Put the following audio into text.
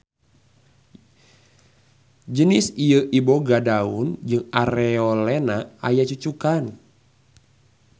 Jenis ieu iboga daun jeung areolena aya cucukan.